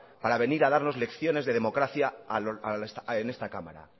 para venir a darnos lecciones de democracia en esta cámara